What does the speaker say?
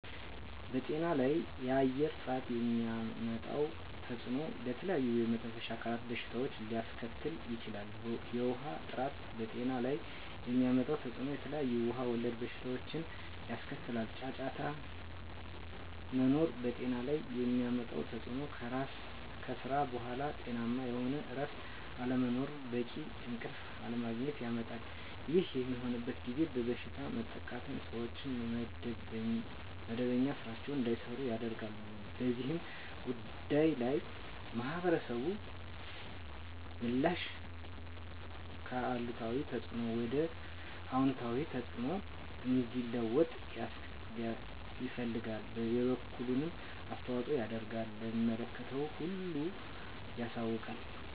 በጤና ላይ የአየር ጥራት የሚያመጣው ተፅዕኖ ለተለያዩ የመተንፈሻ አካል በሽታዎችን ሊያስከትል ይችላል። የውሀ ጥራት በጤና ላይ የሚያመጣው ተፅዕኖ የተለያዩ ውሀ ወለድ በሽታዎችን ያስከትላል። ጫጫታ መኖር በጤና ላይ የሚያመጣው ተፅዕኖ ከስራ በኃላ ጤናማ የሆነ እረፍት አለመኖርን በቂ እንቅልፍ አለማግኘት ያመጣል። ይህ በሚሆንበት ጊዜ በበሽታ መጠቃትን ሰዎች መደበኛ ስራቸዉን እንዳይሰሩ ያደርጋል። በዚህ ጉዳይ ላይ የማህበረሰቡ ምላሽ ከአሉታዊ ተፅዕኖ ወደ አወንታዊ ተፅዕኖ እንዲለወጥ ይፈልጋል የበኩሉን አስተዋፅኦ ያደርጋል ለሚመለከተው ሁሉ ያሳውቃል።